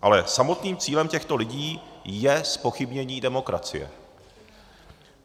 Ale samotným cílem těchto lidí je zpochybnění demokracie.